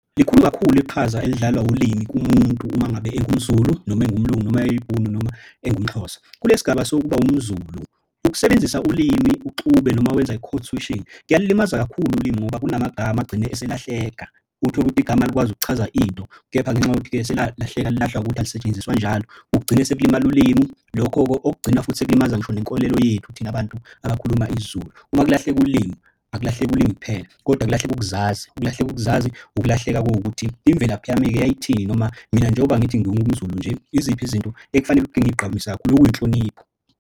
Likhulu kakhulu iqhaza elidlalwa ulimi kumuntu uma ngabe engumZulu noma engumlungu noma eyibhunu noma engumXhosa. Kulesi gaba sokuba umZulu ukusebenzisa ulimi uxube noma wenza i-code-switching kuyalimaza kakhulu ulimi ngoba kunamagama agcine eselahleka. Utholukuthi igama likwazi ukuchaza into kepha ngenxa yokuthi-ke selalahleka lilahlwa ukuthi alisetshenziswa njalo kugcine sekulimala ulimi. Lokho okugcina futhi sekulimaza ngisho nenkolelo yethu thina abantu abakhuluma isiZulu. Uma kulahleke ulimi akulahleki ulimi kuphela kodwa kulahleke ukuzazi, ukulahleka ukuzazi ukulahleka okuwukuthi imvelaphi yami-ke yayithini noma mina njengoba ngithi ngiwumZulu nje, yiziphi izinto ekufanele ukuthi ngigqamise kakhulu okuyinhlonipho.